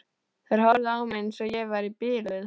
Þeir horfðu á mig eins og ég væri biluð.